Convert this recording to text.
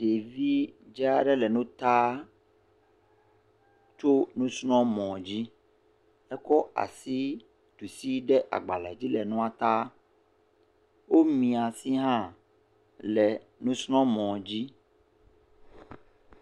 Ɖevi dza aɖe le nu taa tso musrɔ̃mɔ dzi ekɔ asi ɖusi ɖe agbalẽ dzi le nua tam, wo mia si hã le nusrɔ̃mɔ dzi.